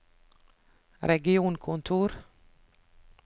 regionkontor